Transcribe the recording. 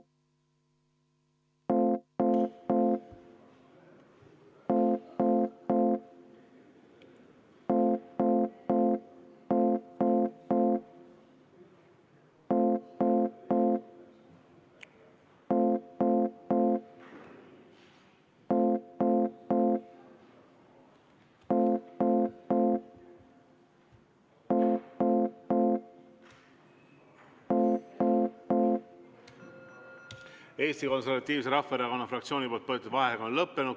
Eesti Konservatiivse Rahvaerakonna fraktsiooni palutud vaheaeg on lõppenud.